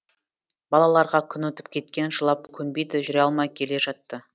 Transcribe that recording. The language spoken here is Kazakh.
балаларға күн өтіп кеткен жылап көнбейді жүре алмай келе жатты